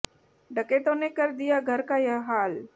डकैतों ने कर दिया घर का यह हाल